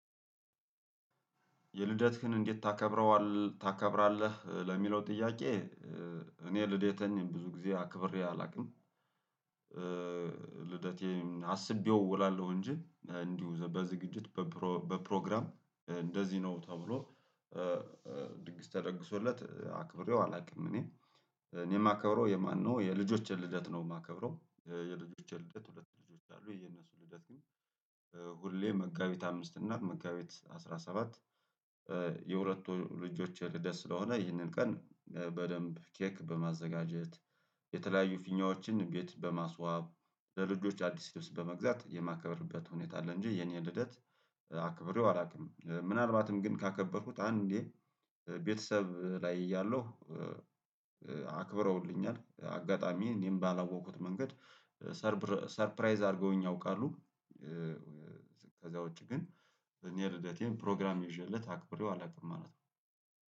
የልደትህን እንዴት ታከብረዋለህ ታከብራለህ ለሚለው ጥያቄ? እኔ ልደቴን ብዙ ጊዜ አክብሬ አላውቅም። ልደቴም አስቤው እውላለሁ እንጂ እንዲሁ በዝግጅት በፕሮግራም እንደዚህ ነው ተብሎ ድግስ ተደግሶለት አክብሬው አላውቅም። እኔ እኔም ማከብርው የማነው የልጆችን ልደት ነው የማከብረው የልጆችን ልደት ሁለት ልጆች አሉ የነሱ ልደት ግን። ሁሌ መጋቢት አምስት እና መጋቢት አስራ ሰባት የሁለቱ ልጆች ልደት ስለሆነ ይህንን ቀን በደንብ ኬክ በማዘጋጀት የተለያዩ ፊኛዎችን ቤት በማስዋብ ለልጆች አዲስ ልብስ በመግዛት የማከብርበት ሁኔታ አለ። እንጂ የኔ ልደት አክብሬው አላውቅም። ምናልባትም ግን ካከበርኩት አንዴ ቤተሰብ ላይ እያለሁ አክብረውልኛል አጋጣሚ እኔም ባላወቁት መንገድ ሰርፕራይዝ አድርገውኝ ያውቃሉ። ከዚያ ውጪ ግን እኔ ልደቴን ፕሮግራም ይዤለት አክብሬው አላውቅም ማለት ነው።